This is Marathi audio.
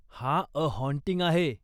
हा 'अ हाँटिंग' आहे.